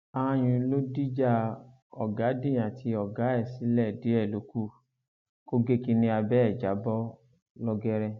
aáyun ló dìjà ọgádìn àti ọgá ẹ sílẹ díẹ ló kù kó gé kínní abẹ ẹ já bọ lọgẹrẹ